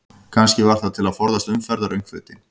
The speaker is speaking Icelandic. Kannski var það til að forðast umferðaröngþveiti?